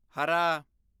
ਹਰਾ